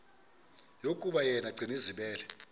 yokuba yena gcinizibele